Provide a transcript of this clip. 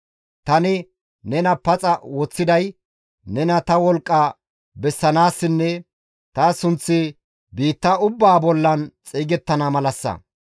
Tani nena paxa woththiday nena ta wolqqa bessanaassinne ta sunththi biitta ubbaa bollan xeygettana malassa.